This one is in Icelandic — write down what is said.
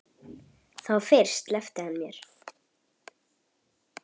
Þá fyrst sleppti hann mér.